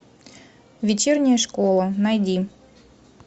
вечерняя школа найди